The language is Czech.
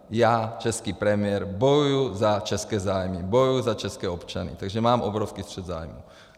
Já, český premiér, bojuji za české zájmy, bojuji za české občany, takže mám obrovský střet zájmů.